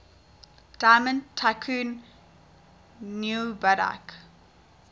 diamond tycoon nwabudike